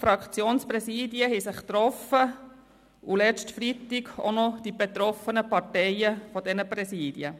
Die Fraktionspräsidien haben sich getroffen und letzten Freitag auch noch die betroffenen Parteien dieser Präsidien.